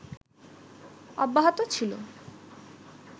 অব্যাহত ছিল